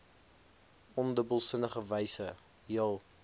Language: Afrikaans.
ondubbelsinnige wyse jul